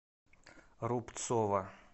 рубцова